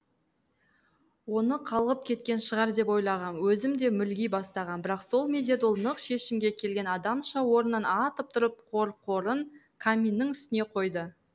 оны қалғып кеткен шығар деп ойлағам өзім де мүлги бастағам бірақ сол мезет ол нық шешімге келген адамша орнынан атып тұрып қорқорын каминнің үстіне қойды